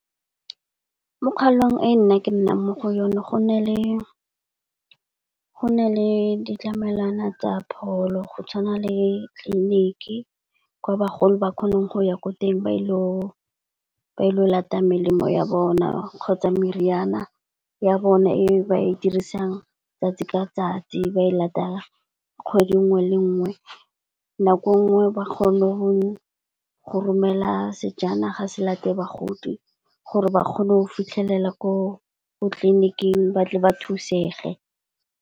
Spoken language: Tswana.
Mo kgaolong e nna ke nnang mo go yone go na le ditlamelwana tsa pholo go tshwana le tleliniki, kwa bagolo ba kgonang go ya ko teng ba ilo latang melemo ya bona kgotsa meriana ya bona e ba e dirisang tsatsi ka tsatsi, ba e latelang kgwedi nngwe le nngwe. Nako e nngwe ba kgone go romela sejanaga se late bagodi gore ba kgone go fitlhelela ko tleliniking ba tle ba thusege.